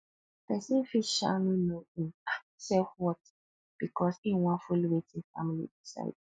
pesin fit um no no im um selfworth bikos im wan follow wetin family decide